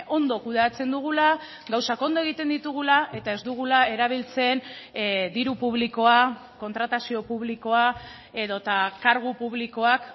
ondo kudeatzen dugula gauzak ondo egiten ditugula eta ez dugula erabiltzen diru publikoa kontratazio publikoa edota kargu publikoak